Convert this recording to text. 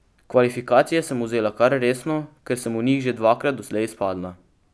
Kvalifikacije sem vzela kar resno, ker sem v njih že dvakrat doslej izpadla.